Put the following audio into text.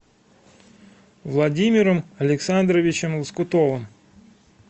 владимиром александровичем лоскутовым